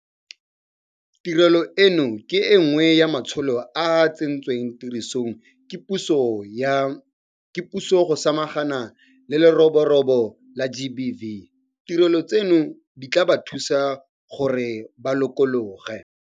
Tirelo eno ke e nngwe ya matsholo a a tsentsweng tirisong ke puso go samagana le leroborobo la GBV. Ditirelo tseno di tla ba thusa gore ba lokologe.